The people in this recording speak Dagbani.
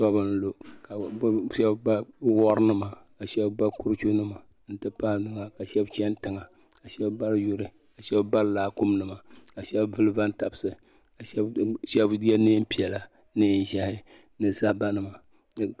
Tɔbu n lu ka shɛba ba wari nima ka shɛba ka shɛba ba kuruchu nima n ti pahi ka shɛba chani tiŋa ka shɛba bari yuri ka shɛba bari laakumi nima ka shɛba vuli bantabisi ka shɛba yɛ niɛn piɛla niɛn ʒiɛhi ni zaba nima.